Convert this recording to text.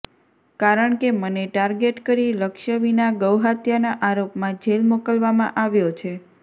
કારણ કે મને ટાર્ગેટ કરી લક્ષ્ય વિના ગૌહત્યાના આરોપમાં જેલ મોકલવામાં આવ્યો છે